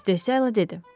İstehzayla dedi.